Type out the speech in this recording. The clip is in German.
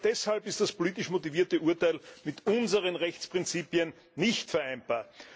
Genau deshalb ist das politisch motivierte Urteil mit unseren Rechtsprinzipien nicht vereinbar.